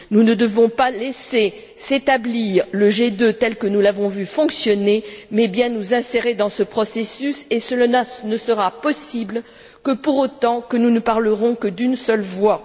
Nous ne devons pas laisser s'établir le G2 tel que nous l'avons vu fonctionner mais bien nous insérer dans ce processus et cela ne sera possible que pour autant que nous ne parlerons que d'une seule voix.